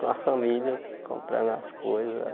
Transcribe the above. Com a família, comprando as coisas.